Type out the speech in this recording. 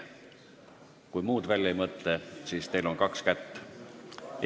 Kui te muud välja ei mõtle, siis teil on kaks kätt.